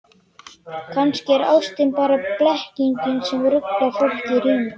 Kannski er ástin bara blekking sem ruglar fólk í ríminu.